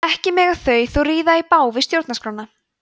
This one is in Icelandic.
ekki mega þau þó ríða í bág við stjórnarskrána